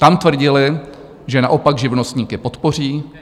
Tam tvrdili, že naopak živnostníky podpoří.